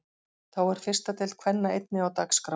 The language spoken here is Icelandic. Þá er fyrsta deild kvenna einnig á dagskrá.